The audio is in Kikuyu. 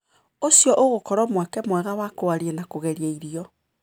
ũcio ũgũkorwo mweke mwega wa kũaria na kũgeria irio.